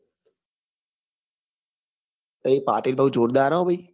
પાટીલ ભાઈ જોરદાર હે ભાઈ